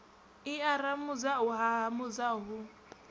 i aramudza u haramudza hu